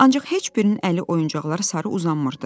Ancaq heç birinin əli oyuncaqlara sarı uzanmırdı.